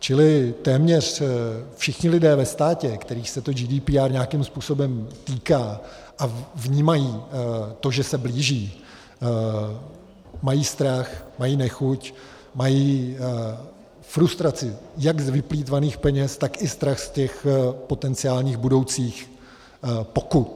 Čili téměř všichni lidé ve státě, kterých se to GDPR nějakým způsobem týká a vnímají to, že se blíží, mají strach, mají nechuť, mají frustraci jak z vyplýtvaných peněz, tak i strach z těch potenciálních budoucích pokut.